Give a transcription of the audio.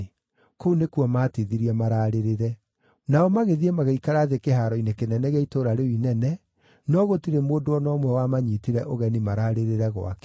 Kũu nĩkuo maatithirie maraarĩrĩre. Nao magĩthiĩ magĩikara thĩ kĩhaaro-inĩ kĩnene gĩa itũũra rĩu inene, no gũtirĩ mũndũ o na ũmwe wamanyiitire ũgeni mararĩrĩre gwake.